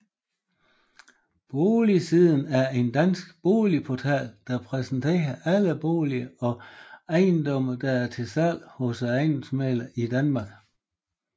Boligsiden er en dansk boligportal der præsenterer alle boliger og ejendomme der er til salg hos ejendomsmæglere i Danmark